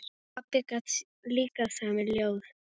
Pabbi gat líka samið ljóð.